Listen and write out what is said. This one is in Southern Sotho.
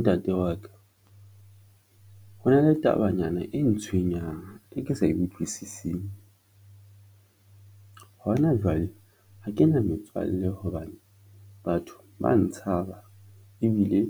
Ntate wa ka ho na le tabanyana e ntshwenyang e ke sa e utlwisising. Hona jwale ha ke na metswalle hobane batho ba ntshaba ebile